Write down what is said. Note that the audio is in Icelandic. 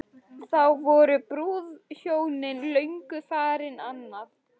Þá voru brúðhjónin löngu farin annað.